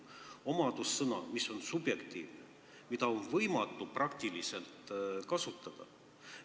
See on omadussõna, mis on subjektiivne, mida on peaaegu võimatu kasutada.